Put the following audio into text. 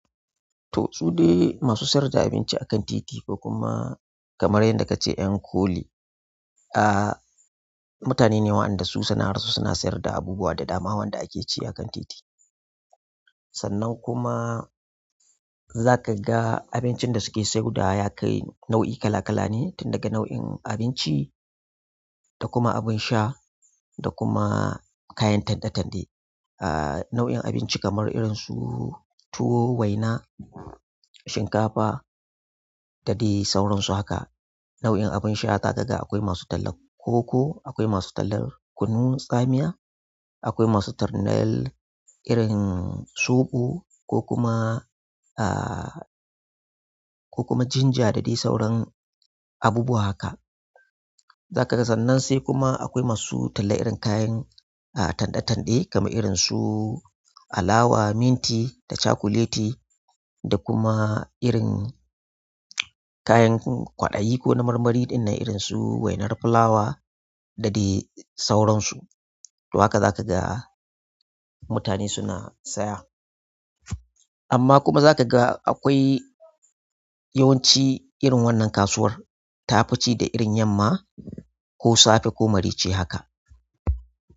To su dai, masu siyarda abinci akan titi kokuma kamar yanda kace yan ko li ah, mutanene wa'anda su suna rasa suna sayarda abubuwa da dama wanda ake ci akan titi. Sannan kuma, za ka ga abincin da suke sayauda ya kai nau'i kala kala ne, tun daga nau'in abinci da kuma abin sha dakuma, kayan tande tande, ah, nau in abinci kamar irinsu tuwo waina shinkafa da dai sauransu haka. Nau'in abin sha za ka ga akwai masu tallar koko, akwai masu tallar kunun tsamiya, akwai masu tarnal irin soɓo ko kuma ah, ko kuma jinja da dai sauran abubuwa haka. Zaka ga sannan sai kuma akwai masu talla irin kayan ah, tanɗe tanɗe kamar irin su alawa, minti da cakuleti da kuma, irin kayan kwaɗayi ko na marmari ɗin nan irin su wainar fulawa da dai sauransu. Haka za ka ga, mutane suna saya. Amma kuma za ka ga akwai yawanci irin wannan kasuwar ta fici da irin yamma ko safe ko marece haka.